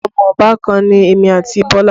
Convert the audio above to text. Ọmọ obàkan ni èmi àti Bọlá